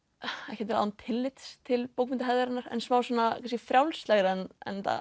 ekki án tillits til en smá svona kannski frjálslegra en